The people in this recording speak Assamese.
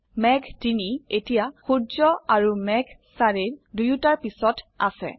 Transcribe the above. মেঘ ৩ এতিয়া সূৰ্য আৰু মেঘ ৪ৰ দুয়োটাৰ পিছত আছে